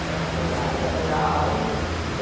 Tem a faculdade, dá para dar aula.